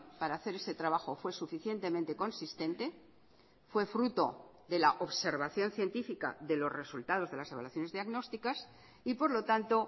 para hacer ese trabajo fue suficientemente consistente fue fruto de la observación científica de los resultados de las evaluaciones diagnósticas y por lo tanto